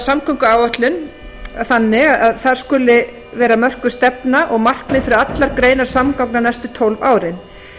samgönguáætlun en þar skal mörkuð stefna og markmið fyrir allar greinar samgangna næstu tólf árin